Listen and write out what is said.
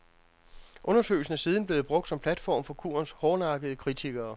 Undersøgelsen er siden blevet brugt som platform for kurens hårdnakkede kritikere.